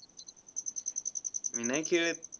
मी नाही खेळत.